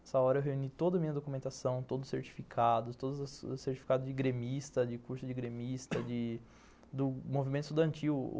Nessa hora, eu reuni toda a minha documentação, todos os certificados, todos os certificados de gremista, de curso de gremista, de do movimento estudantil.